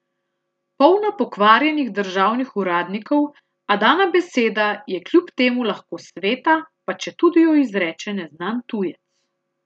Polna pokvarjenih državnih uradnikov, a dana beseda je kljub temu lahko sveta, pa četudi jo izreče neznan tujec.